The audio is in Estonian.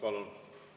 Palun!